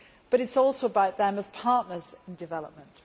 But it is also about them as partners in development.